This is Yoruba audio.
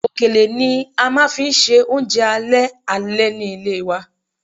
Òkèlè ni a máa fi ń ṣe oúnjẹ alẹ́ alẹ́ ni ilé wa